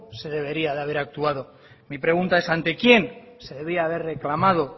se debería de haber actuado mi pregunta es ante quién se debía haber reclamado